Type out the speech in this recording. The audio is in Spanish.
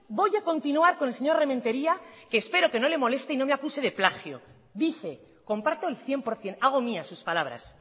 voy a continuar con el señor rementeria que espero que no le moleste y no me acuse de plagio dice comparto el cien por ciento hago mías sus palabras